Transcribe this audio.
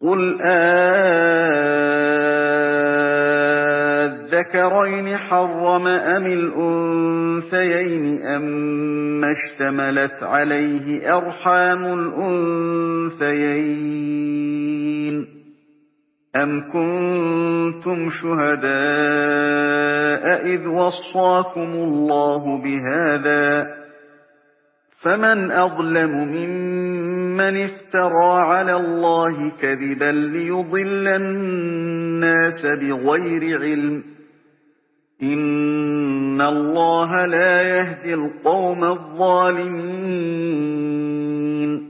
قُلْ آلذَّكَرَيْنِ حَرَّمَ أَمِ الْأُنثَيَيْنِ أَمَّا اشْتَمَلَتْ عَلَيْهِ أَرْحَامُ الْأُنثَيَيْنِ ۖ أَمْ كُنتُمْ شُهَدَاءَ إِذْ وَصَّاكُمُ اللَّهُ بِهَٰذَا ۚ فَمَنْ أَظْلَمُ مِمَّنِ افْتَرَىٰ عَلَى اللَّهِ كَذِبًا لِّيُضِلَّ النَّاسَ بِغَيْرِ عِلْمٍ ۗ إِنَّ اللَّهَ لَا يَهْدِي الْقَوْمَ الظَّالِمِينَ